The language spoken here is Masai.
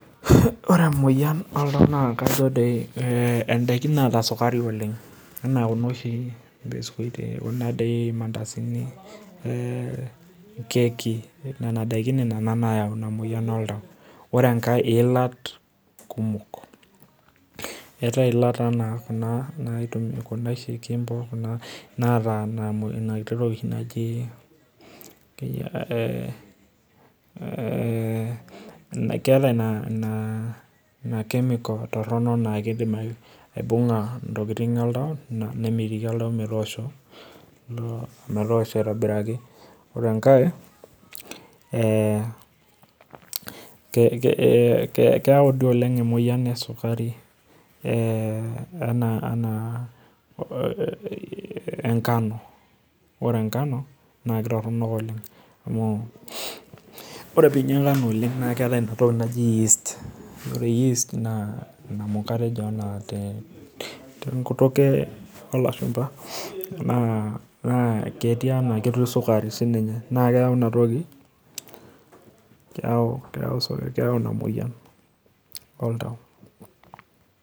Oee emoyian oltua na ndakin naara sukari oleng' anaa mbisukutini irmandasini ekeki nona dakin nayau inamoyian oltau ore enkae na iilat kumok eetae ila naitau kuna naata enatoki naji ee keeta chemical toronok na kidim aibunga oltau nemitiki oltau metoosho aitobiraki ore enkae keyau duo oleng emoyian esukari anaa enkano ore enkano nakwwta inaatoki naji yeast na keeta tenkutuk olashumba na ketii sukari nakeyau inamoyian oltau.